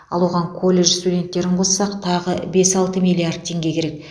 ал оған колледж студенттерін қоссақ тағы бес алты миллиард теңге керек